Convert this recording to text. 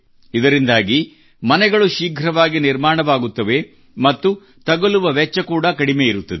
ಇದರಿಂದಾಗಿ ಮನೆಗಳು ಶೀಘ್ರವಾಗಿ ನಿರ್ಮಾಣವಾಗುತ್ತವೆ ಮತ್ತು ತಗಲುವ ವೆಚ್ಚ ಕೂಡಾ ಕಡಿಮೆ ಇರುತ್ತದೆ